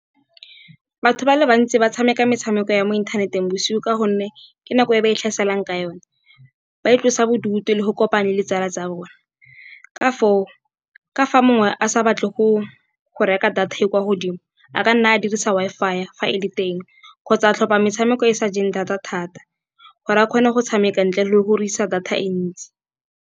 Batho ba le bantsi ba tshameka metshameko ya mo inthaneteng bosigo. Ka gonne ke nako e ba e tlhaselang ka yone ba itlosa bodutu le go kopane le ditsala tsa bone. Ka foo ka fa mongwe a sa batle go reka data e kwa godimo, a ka nna a dirisa Wi-Fi fa e le teng. Kgotsa tlhopa metshameko e sa jeng data thata, gore a kgone go tshameka ntle le go dirisa data e ntsi.